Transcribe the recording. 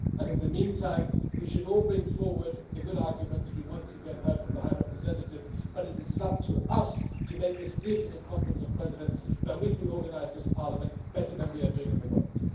In the meantime, we should all bring forward the good arguments that we have once again heard from the High Representative, but it is up to us to make it clear to the Conference of Presidents that we can organise this Parliament better than we are at the moment.